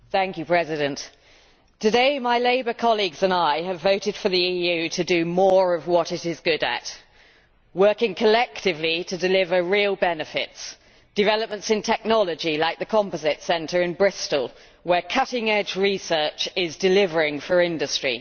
Mr President, today my Labour colleagues and I have voted for the EU to do more of what it is good at working collectively to deliver real benefits developments in technology like the Composites Centre in Bristol, where cutting edge research is delivering for industry.